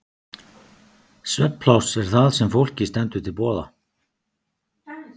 Svefnpláss er það sem fólki stendur til boða.